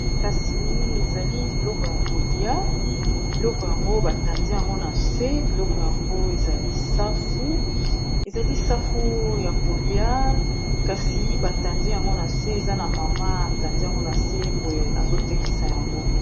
kasi ezali biloko ya kolia, biloko yango batandi yango na se, biloko yango ezali safu ya kolia, kasi batandi yango na se, eza na mama atandi yango na se boye azotekisa yango.